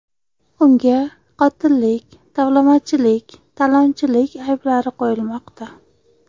Unga qotillik, tovlamachilik, talonchilik ayblari qo‘yilmoqda.